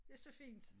Det så fint